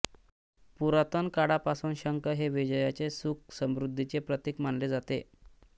पुरातन काळापासून शंख हे विजयाचे सुखसमृद्धीचे प्रतीक मानले जाते